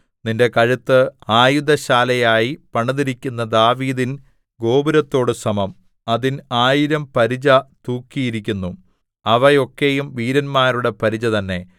നിന്റെ കഴുത്ത് ആയുധശാലയായി പണിതിരിക്കുന്ന ദാവീദിൻ ഗോപുരത്തോടു സമം അതിൽ ആയിരം പരിച തൂക്കിയിരിക്കുന്നു അവ ഒക്കെയും വീരന്മാരുടെ പരിച തന്നെ